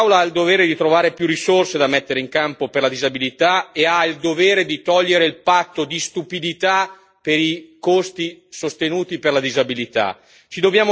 Così come quest'Aula ha il dovere di trovare più risorse da mettere in campo per la disabilità e ha il dovere di togliere il patto di stupidità per i costi sostenuti per la disabilità.